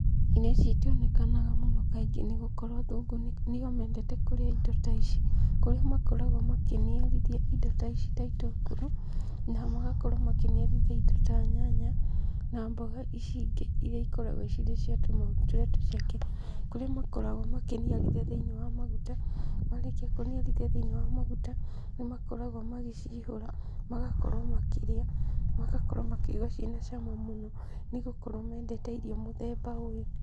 Irio ici itionekaga mũno kaingĩ nĩgũkorwo athũngũ nĩo mendete kũrĩa indo ta ici, kũrĩa makoragwo makĩniarithia indo ta ici ta itũngũrũ, na magakorwo makĩniarithia indo ta nyanya, na mboga ici ingĩ iria cikoragwo cirĩ cia tũmahuti tũrĩa tũceke, kũrĩa makoragwo makĩniarithia thĩinĩ wa maguta, marĩkia kũihũra thĩinĩ wa maguta, nĩmakoragwo magĩcihũra, magakorwo makĩrĩa, magakorwo makĩigua ciĩna cama mũno, nĩgũkorwo mendete irio mũthemba ũyũ.